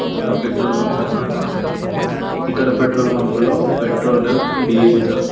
ఇది ఒక petrol bunk అన్న మాట ఇక్కడ పెట్రోల్ బంకు లో పెట్రోల్ డీజిల్ --